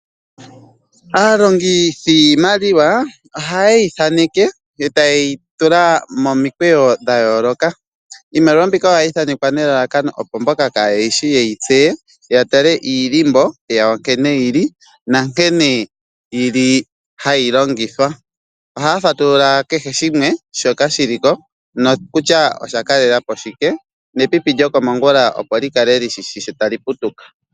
Aalongithi yiimaliwa ohaye yi thaneke e taye yi tula momikweyo dha yooloka. Iimaliwa mbika ohayi thanekwa nelalakano, opo mboka kaaye yi shi ye yi tseye, ya tale omandhindhiliko gawo nkene ge li nankene hayi longithwa. Ohaya fatulula kehe shimwe shoka shi li ko kutya osha kalela po shike nepipi lyokomongula, opo li kale li shi shi shi tali putuka.